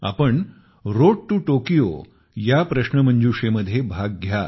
आपण road to Tokyo Tokyo ला जाण्याचा मार्ग प्रश्नोत्तरी मध्ये भाग घ्या